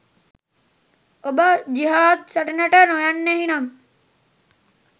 ඔබ ජිහාද් සටනට නොයන්නෙහි නම්